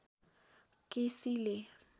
केसीले